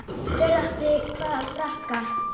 Hver átti hvaða frakka?